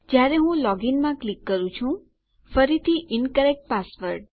જયારે હું લોગીનમાં ક્લિક કરું છું ફરીથી ઇન્કરેક્ટ પાસવર્ડ